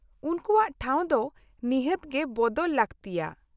-ᱩᱱᱠᱩᱣᱟᱜ ᱴᱷᱟᱣ ᱫᱚ ᱱᱤᱦᱟᱹᱛ ᱜᱮ ᱵᱚᱫᱚᱞ ᱞᱟᱹᱠᱛᱤᱭᱟ ᱾